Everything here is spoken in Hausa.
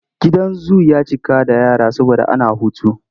Gidan zu ya cika da yara saboda ana hutu.